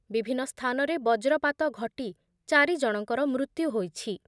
ବିଭିନ୍ନ ସ୍ଥାନରେ ବଜ୍ରପାତ ଘଟି ଚାରି ଜଣଙ୍କର ମୃତ୍ୟୁ ହୋଇଛି ।